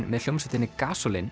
með hljómsveitinni